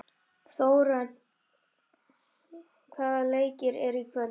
Þórörn, hvaða leikir eru í kvöld?